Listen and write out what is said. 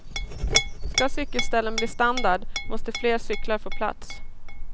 Ska cykelställen bli standard, måste fler cyklar få plats.